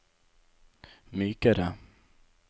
mykere